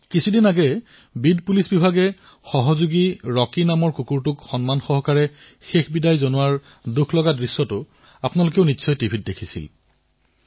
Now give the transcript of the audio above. কিছুদিন পূৰ্বে আপোনালোকে বোধহয় টিভিত এক অতিশয় ভাবুক দৃশ্য প্ৰত্যক্ষ কৰিছে যত এক বীড আৰক্ষীয়ে সম্পূৰ্ণ সন্মানৰ সৈতে কুকুৰ এটাক অন্তিম বিদায় জনাইছে